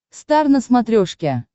стар на смотрешке